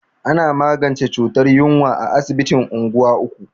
Ana magance cutar yunwa a asibitin unguwa uku.